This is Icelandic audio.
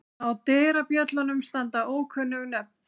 Á dyrabjöllunum standa ókunnug nöfn.